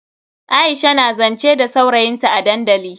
Aisha na zance da saurayin ta a dandali.